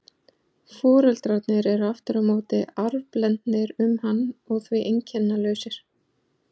Foreldrarnir eru aftur á móti arfblendnir um hann og því einkennalausir.